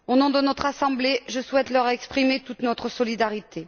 Au nom de notre Assemblée, je souhaite leur exprimer toute notre solidarité.